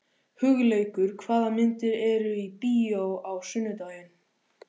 Hugleikur, hvaða myndir eru í bíó á sunnudaginn?